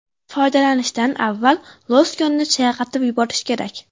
Foydalanishdan avval losyonni chayqatib yuborish kerak.